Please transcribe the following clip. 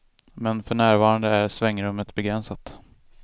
Men för närvarande är svängrummet begränsat.